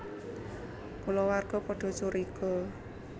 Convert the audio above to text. Kulawarga padha curiga